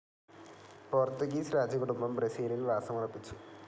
Portuguese രാജകുടുംബം ബ്രസീലിൽ വാസമുറപ്പിച്ചു.